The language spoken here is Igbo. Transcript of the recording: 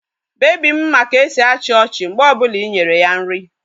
Bebi m ma ka-esi achi ochi mgbe o bula inyere ya nri.